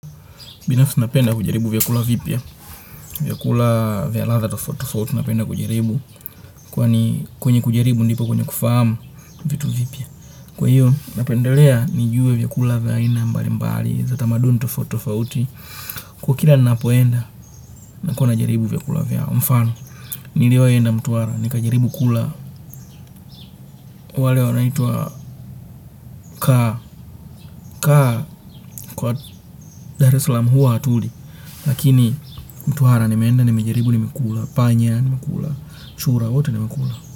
Binafsi napenda kujaribu vyakula vipya, vyakula vya ladha tofauti, napenda kujaribu. Kwenye kujaribu ndipo kwenye kufahamu vitu vipya. Kwa hiyo napendelea nijue vyakula vya aina mbalimbali za tamaduni tofautitofauti. Kila ninapoenda nakuwa najaribu vyakula vya mfano. Niliwahi kwenda Mtwara, nikajaribu kula wale wanaitwa kaa, kwa Dar es Salaam huwa hatuli. Lakini Mtwara nimeenda nimejaribu, nimekula panya, nimekula chura, wote nimekula.